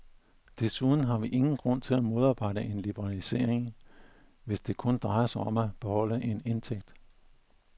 Desuden har vi ingen grund til at modarbejde en liberalisering, hvis det kun drejer sig om at beholde en indtægt.